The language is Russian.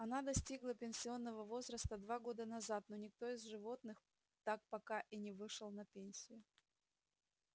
она достигла пенсионного возраста два года назад но никто из животных так пока и не вышел на пенсию